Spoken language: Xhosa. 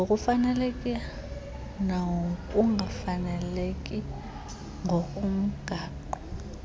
ngokufaneleka nokungafaneleki ngokomgaqo